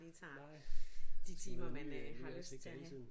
Nej så man er ny øh nyt ansigt hele tiden